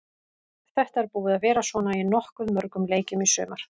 Þetta er búið að vera svona í nokkuð mörgum leikjum í sumar.